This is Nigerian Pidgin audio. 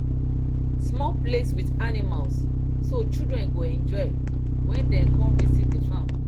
small place with animals so children go enjoy when dem come visit the farm